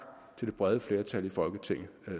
til det brede flertal i folketinget